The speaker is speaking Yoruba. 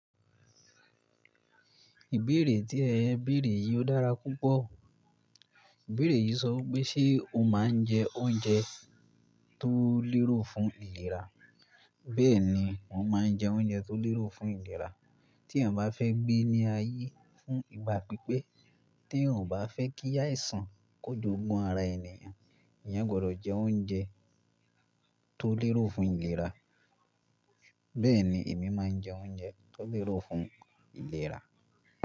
Ìbéèrè tí ẹ bẹ̀rẹ̀ yìí ò dára púpọ̀. Ìbéèrè yìí sọ wípé ṣe o máa ń jẹ oúnjẹ tó lérò fún ìlera? Bẹ́ẹ̀ ni, mo máa ń jẹ oúnjẹ tó lérò fún ìlera. Tí ẹ̀ bá fẹ́ gbé ní ayé fún ìgbà pípẹ́, tí èèyàn ò bá fẹ́ kí àìsàn kojoogún ara ènìyàn, ìyẹn gbọ́dọ̀ jẹ oúnjẹ tó lérò fún ìlera. Bẹ́ẹ̀ ni, èmi máa ń jẹ oúnjẹ tó lérò fún ìlera.